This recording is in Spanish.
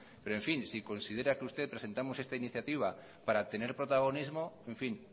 pero en fin si considera que usted presentamos esta iniciativa para obtener protagonismo en fin